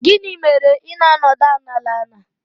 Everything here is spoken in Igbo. Gịnị mere ị na-anọdụ ala n'ala?